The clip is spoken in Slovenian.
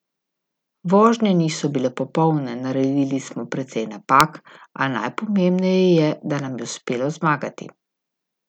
Vožnje niso bile popolne, naredili smo precej napak, a najpomembneje je, da nam je uspelo zmagati.